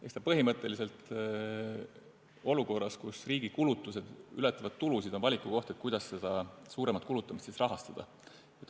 Eks see ole olukorras, kus riigi kulutused ületavad tulusid, põhimõtteliselt valiku koht, kuidas seda suuremat kulutamist rahastada.